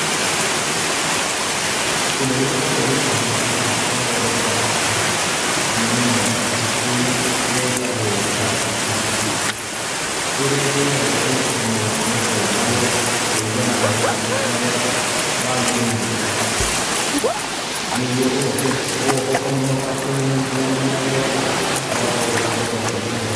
Kĩndũ gĩkoragwo gĩkĩhũthĩka gũthondeka nyamu ĩno gĩtagwo plastiki ĩrĩa ĩthĩagwo ĩgacinwo na ĩkombwo kũringana na ũrĩa wagĩrĩire, nĩguo ũgoka ũkamĩhota kũmĩnyitithania wega ũgakorwo ũgĩbanga indo ciaku wega.